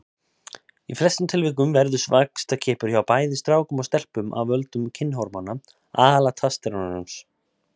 Í flestum tilvikum verður vaxtarkippur hjá bæði strákum og stelpum af völdum kynhormóna, aðallega testósteróns.